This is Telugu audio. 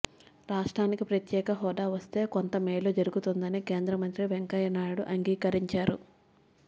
రాష్ట్రానికి ప్రత్యేక హోదా వస్తే కొంత మేలు జరుగుతుందని కేంద్ర మంత్రి వెంకయ్య నాయుడు అంగీకరించారు